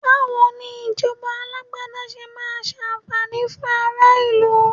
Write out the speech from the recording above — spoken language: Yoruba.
Bawo ni ìjọba Alágbádá ṣe máa ṣàǹfààní fún ara ìlú